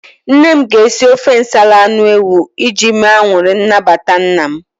Nne m ga-esi ofe nsala anụ ewu iji mee anụrị nnabata nna m.